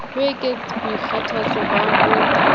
ho ekets boikgathatso ba ho